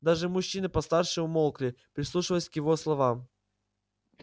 даже мужчины постарше умолкли прислушиваясь к его словам